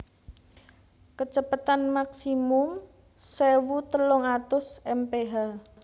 Kecepatan Maksimum sewu telung atus mph